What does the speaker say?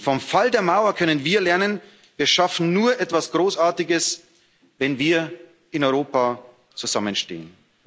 Vom Fall der Mauer können wir lernen Wir schaffen nur etwas Großartiges, wenn wir in Europa zusammenstehen.